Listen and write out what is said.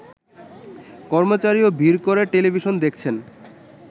কর্মচারীও ভিড় করে টেলিভিশন দেখছেন